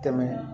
Tɛmɛ